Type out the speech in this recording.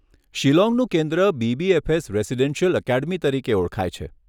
શિલોંગનું કેન્દ્ર BBFS residential academy તરીકે ઓળખાય છે.